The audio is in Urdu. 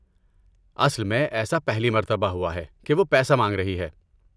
اصل میں، ایسا پہلی مرتبہ ہوا ہے کہ وہ پیسہ مانگ رہی ہے۔